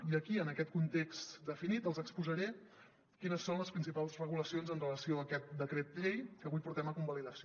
i aquí en aquest context definit els exposaré quines són les principals regulacions amb relació a aquest decret llei que avui portem a convalidació